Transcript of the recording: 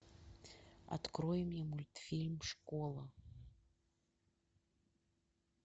открой мне мультфильм школа